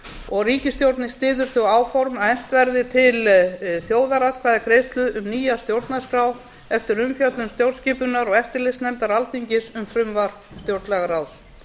og ríkisstjórnin styður þau áform að efnt verði til þjóðaratkvæðagreiðslu um nýja stjórnarskrá eftir umfjöllun stjórnskipunar og eftirlitsnefndar alþingis um frumvarp stjórnlagaráðs